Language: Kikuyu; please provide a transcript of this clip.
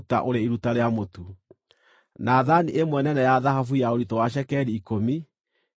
na thaani ĩmwe nene ya thahabu ya ũritũ wa cekeri ikũmi, ĩiyũrĩtio ũbumba;